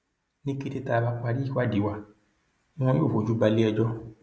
ní kété tá a bá parí ìwádìí wa ni wọn yóò fojú balẹẹjọ